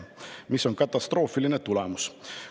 See on katastroofiline tulemus.